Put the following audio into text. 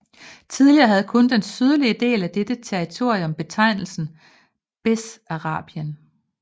Tidligere havde kun den sydlige del af dette territorium betegnelsen Bessarabien